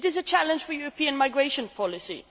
It is a challenge for European migration policy.